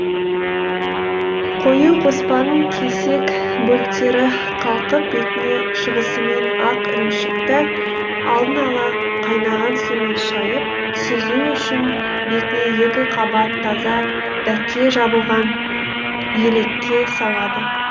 қою қоспаның кесек бөліктері қалқып бетіне шығысымен ақ ірімшікті алдын ала қайнаған сумен шайып сүзу үшін бетіне екі қабат таза дәке жабылған елекке салады